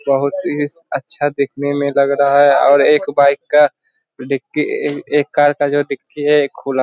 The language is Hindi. बहोत ही अच्छा दिखने मे लग रहा है और एक बाइक का डिक्की एक कार का जो डिक्की है खुला --